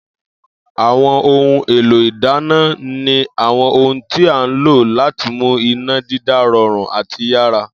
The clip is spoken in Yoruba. Àwo̩n ohun èlò ìdáná ni àwo̩n ohun tí a ń lò láti mú iná dídá ro̩rùn àti yára